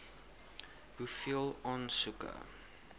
hoeveel aansoeke